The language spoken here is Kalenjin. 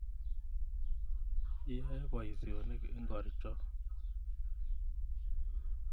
Iyoe poisyonik ingor cho?